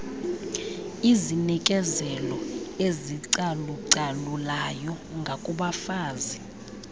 izinikezelo ezicalucalulayo ngakubafazi